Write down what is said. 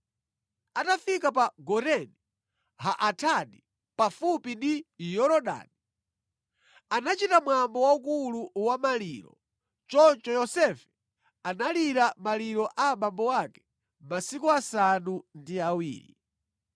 Atafika pa Goreni ha-Atadi, pafupi ndi Yorodani, anachita mwambo waukulu wa maliro. Choncho Yosefe analira maliro a abambo ake masiku asanu ndi awiri.